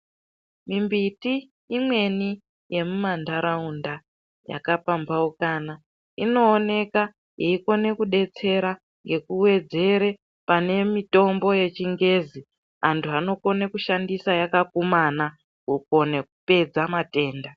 Mimbiti imweni yemumandaraunda yakapambaukana inoonekwa yeikona kudetsera ngekuwedzera pane mitombo yechingezi antu anokona kushandisa yakakumana kukona kupedza matenda.